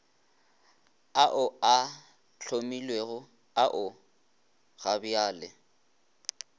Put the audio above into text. ao a hlomilwego ao gabjale